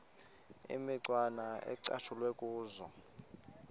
imicwana ecatshulwe kuzo